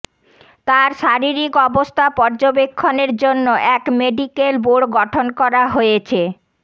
তাঁর শারীরিক অবস্থা পর্যবেক্ষণের জন্য এক মেডিকাল বোর্ড গঠন করা হয়েছে